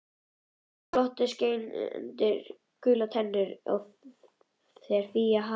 Það glotti svo skein í gular tennurnar þegar Fía harðbannaði